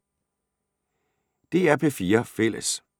DR P4 Fælles